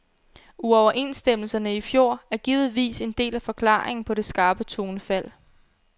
Uoverenstemmelserne i fjor er givetvis en del af forklaringen på det skarpe tonefald.